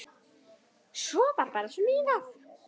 Svo var bara smíðað.